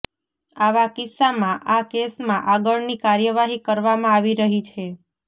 આવા કિસ્સામાં આ કેસમાં આગળની કાર્યવાહી કરવામાં આવી રહી છે